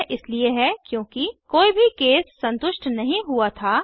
यह इसलिए है क्योंकि कोई भी केस संतुष्ट नहीं हुआ था